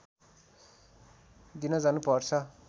दिन जानु पर्छ